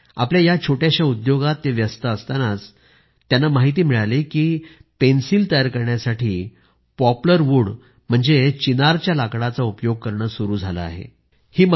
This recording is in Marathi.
ते आपल्या या छोट्याश्या उद्योगात व्यस्त असतानाच त्यांना माहिती मिळाली कि पेन्सिल तयार करण्यासाठी पॉप्लर वूड म्हणजेच चिनारच्या लाकडाचा उपयोग करणे सुरू झाले आहे